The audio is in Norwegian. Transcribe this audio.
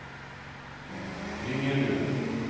Ringebu